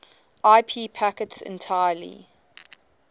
ip packets entirely